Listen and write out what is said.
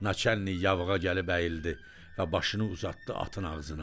Naçalnik yavığa gəlib əyildi və başını uzatdı atın ağzına.